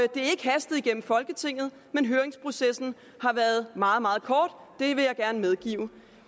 er ikke hastet igennem folketinget men høringsprocessen har været meget meget kort det vil jeg gerne medgive